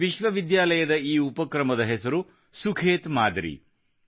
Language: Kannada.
ವಿಶ್ವ ವಿದ್ಯಾಲಯದ ಈ ಉಪಕ್ರಮದ ಹೆಸರು ಸುಖೇತ್ ಮಾದರಿ ಎಂದು